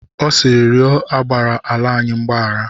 Ọ sịịrị, rịọ agbara ala anyị mgbahara!